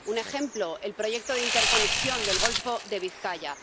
Un ejemplo el proyecto de interconexión del golfo de Vizcaya.